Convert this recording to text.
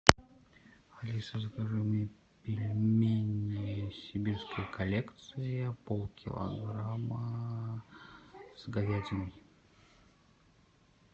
алиса закажи мне пельмени сибирская коллекция полкилограмма с говядиной